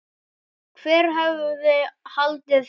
Hver hefði haldið það?